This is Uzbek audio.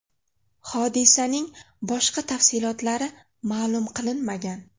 Hodisaning boshqa tafsilotlari ma’lum qilinmagan.